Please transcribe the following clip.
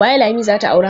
Waye Lami za ta aura?